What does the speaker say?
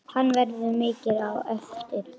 Hann verður mikill á eftir.